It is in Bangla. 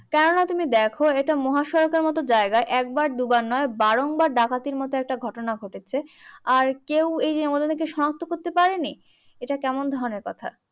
কেননা তুমি দেখো একটা মহাসড়কের মতো জায়গায় একবার দুবার নয় ডাকাতির মতো একটা ঘটনা ঘটেছে। আর কেউ এইযে ওদেরকে শনাত্ম করতে পারেনি? এইটা কেমন ধরনের কথা?